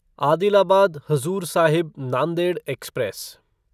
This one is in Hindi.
आदिलाबाद हजूर साहिब नांदेड एक्सप्रेस